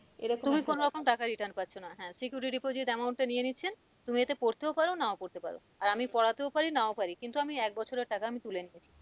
এরকম তুমি কোন রকম টাকা return পাচ্ছ না হ্যাঁ security amount এ নিয়ে নিচ্ছেন তুমি যাতে পড়তেও পারো নাও পড়তে পারো আর আমি পড়াতেও পারি নাও পারি কিন্তু আমি এক বছরের টাকা আমি তুলে নিচ্ছি।